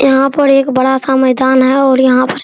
यहाँ पर एक बड़ा-सा मैदान है और यहाँ पर --